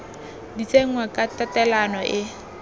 di tsenngwa ka tatelano e